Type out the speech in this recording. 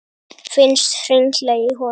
Finnst hringla í honum.